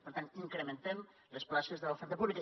per tant incrementem les places de l’oferta pública